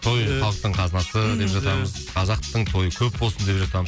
той халықтың қазынасы деп жатамыз қазақтың тойы көп болсын деп